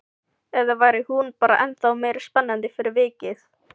Eða væri hún bara ennþá meira spennandi fyrir vikið?